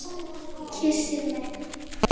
Kyssir mig.